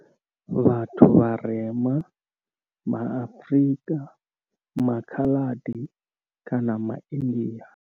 Vhathu vharema ma Afrika, maKhaladi kana maIndia.